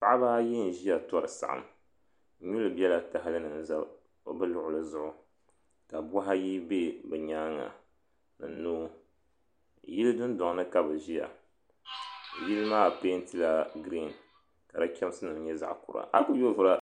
Paɣaba ayi n ʒia tori saɣim nyuli bela tahali ni n za bɛ luɣuli zuɣu ka buhi ayi be bɛ nyaanga ni noo yili dundoŋ ni ka bɛ ʒia yili maa pentila girin ka di chemsi nyɛ zaɣa kura.